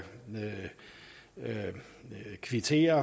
vil kvittere